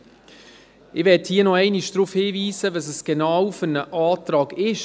Ich möchte hier nochmals darauf hinweisen, was für ein Antrag es konkret ist: